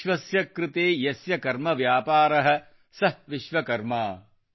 ವಿಶ್ವಸ್ಯ ಕೃತೇ ಯಸ್ಯ ಕರ್ಮವ್ಯಾಪಾರಃ ಸಃ ವಿಶ್ವಕರ್ಮಾ